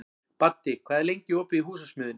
Baddi, hvað er lengi opið í Húsasmiðjunni?